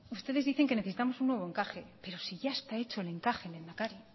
ustedes dicen que necesitamos un nuevo encaje pero si ya está hecho el encaje lehendakari